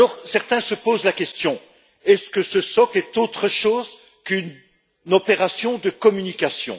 Certains se posent la question est ce que ce socle est autre chose qu'une opération de communication?